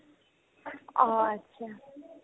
অ', achcha